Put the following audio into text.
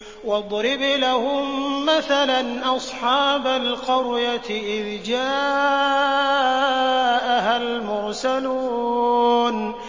وَاضْرِبْ لَهُم مَّثَلًا أَصْحَابَ الْقَرْيَةِ إِذْ جَاءَهَا الْمُرْسَلُونَ